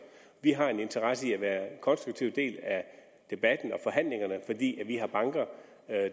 vi har en interesse i at være en konstruktiv del af debatten og forhandlingerne fordi vi har banker